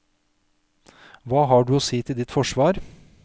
Hva har du å si til ditt forsvar?